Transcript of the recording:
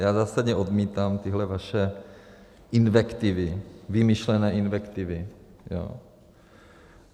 Já zásadně odmítám tyhle vaše invektivy, vymyšlené invektivy.